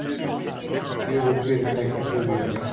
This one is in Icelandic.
Fjögur fyrirtæki buðu í verkið